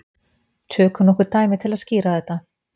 Tökum nokkur dæmi til að skýra þetta.